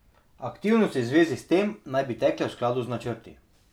Aktivnosti v zvezi s tem naj bi tekle v skladu z načrti.